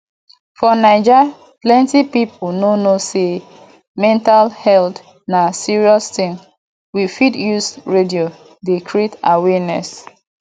for naija plenty pipo no know sey mental health na serious thing we fit use radio dey create awareness